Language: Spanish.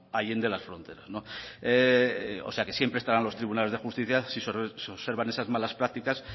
allende las fronteras o sea que siempre estarán los tribunales de justicia si se observan esas malas prácticas